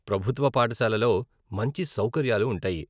ప్రభుత్వ పాఠశాలలో మంచి సౌకర్యాలు ఉంటాయి.